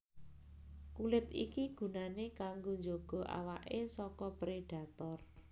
Kulit iki gunané kanggo njaga awaké saka prédhator